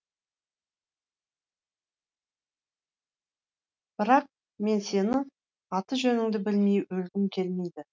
бірақ мен сенің аты жөніңді білмей өлгім келмейді